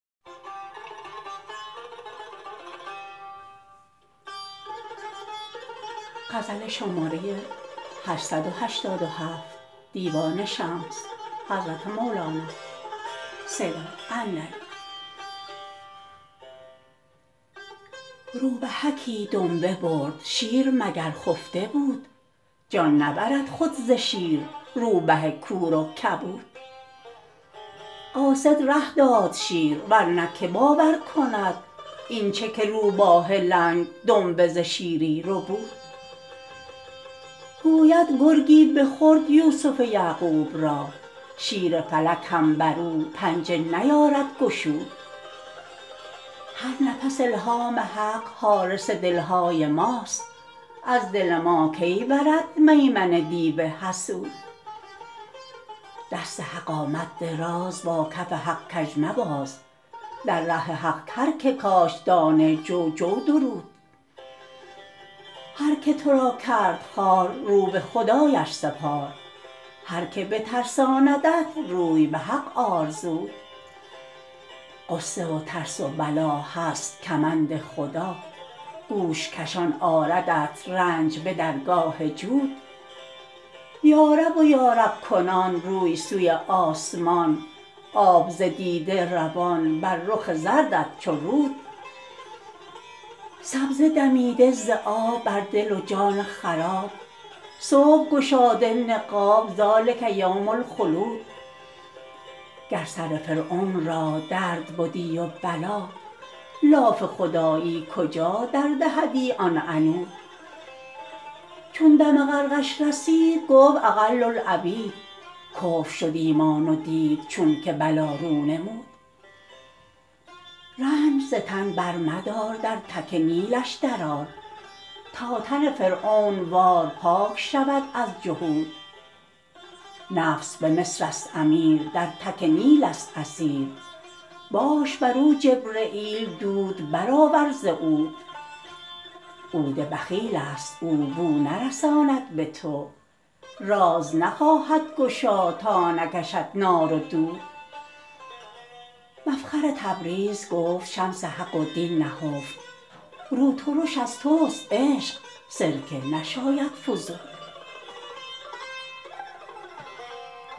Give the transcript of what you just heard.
روبهکی دنبه برد شیر مگر خفته بود جان نبرد خود ز شیر روبه کور و کبود قاصد ره داد شیر ور نه که باور کند این چه که روباه لنگ دنبه ز شیری ربود گفت که گرگی بخورد یوسف یعقوب را شیر فلک هم بر او پنجه نیارد گشود هر نفس الهام حق حارس دل های ماست از دل ما کی برد میمنه دیو حسود دست حق آمد دراز با کف حق کژ مباز در ره حق هر که کاشت دانه جو جو درود هر که تو را کرد خوار رو به خدایش سپار هر کی بترساندت روی به حق آر زود غصه و ترس و بلا هست کمند خدا گوش کشان آردت رنج به درگاه جود یارب و یارب کنان روی سوی آسمان آب ز دیده روان بر رخ زردت چو رود سبزه دمیده ز آب بر دل و جان خراب صبح گشاده نقاب ذلک یوم الخلود گر سر فرعون را درد بدی و بلا لاف خدایی کجا دردهدی آن عنود چون دم غرقش رسید گفت اقل العبید کفر شد ایمان و دید چونک بلا رو نمود رنج ز تن برمدار در تک نیلش درآر تا تن فرعون وار پاک شود از جحود نفس به مصرست امیر در تک نیلست اسیر باش بر او جبرییل دود برآور ز عود عود بخیلست او بو نرساند به تو راز نخواهد گشا تا نکشد نار و دود مفخر تبریز گفت شمس حق و دین نهفت رو ترش از توست عشق سرکه نشاید فزود